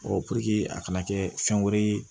puruke a kana kɛ fɛn wɛrɛ ye